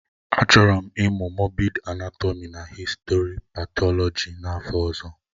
Achọrọ m ịmụ moobid anátọmi na histo-patọlọji n'afọ ọzọ